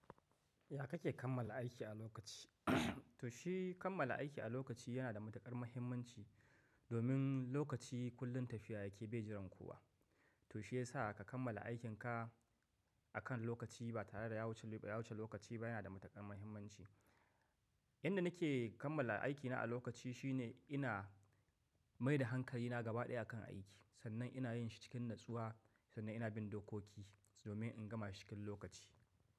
Ya kake kammala aiki a lokaci? To shi kammala aiki a lokaci yana da matuƙar mahimmanci domin lokaci kullum tafiya yake bai jiran kowa. To shi yasa ka kammala aikinka akan lokaci ba tare da ya wuce lokaci ba yana da matuƙar mahimmanci. Yanda nake kammala aikina a lokaci shine ina mai da hankalina gaba ɗaya akan aiki. Sannan ina yin shi cikin natsuwa sannan ina bin dokoki domin in gama shi cikin lokaci.